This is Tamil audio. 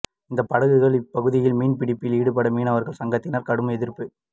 இந்த படகுகள் இப்பகுதியில் மீன்பிடிப்பில் ஈடுபட மீனவா்கள் சங்கத்தினா் கடும் எதிா்ப்பு